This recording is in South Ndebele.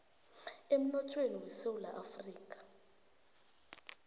emnothweni wesewula afrika